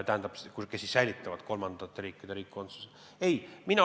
Õigemini, inimesed võivad säilitada ka kolmandate riikide kodakondsuse.